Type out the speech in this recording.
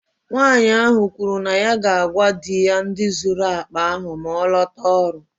Nwanyị ahụ kwuru na ya ga-agwa di ya ndị zuru akpa ahụ maa ọ lotara ọrụ.